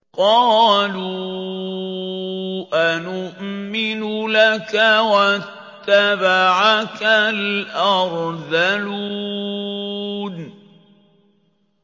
۞ قَالُوا أَنُؤْمِنُ لَكَ وَاتَّبَعَكَ الْأَرْذَلُونَ